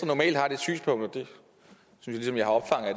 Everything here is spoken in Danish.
normalt har det synspunkt og